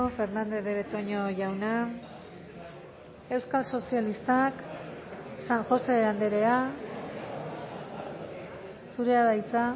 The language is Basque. fernandez de betoño jauna euskal sozialistak san josé andrea zurea da hitza